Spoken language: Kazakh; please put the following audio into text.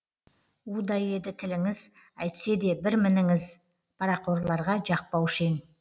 удай еді тіліңіз әйтсе де бір мініңіз парақорларға жақпаушы ең